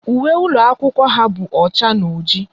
Uwe ụlọ akwụkwọ ha bụ ọcha na ọjị